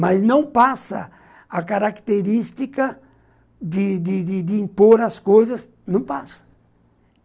Mas não passa a característica de de de de impor as coisas, não passa.